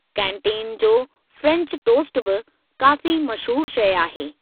Canteen जो French toast बि काफ़ी मशहूरु शइ आहे।